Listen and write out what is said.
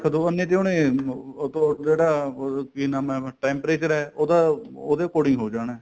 ਦੋ ਉਹਨੇ ਜੇ ਉਹਨੇ ਉਹਤੋਂ ਜਿਹੜਾ ਕੀ ਨਾਮ ਏ temperature ਏ ਉਹਦਾ ਉਹਦੇ according ਹੋ ਜਾਣਾ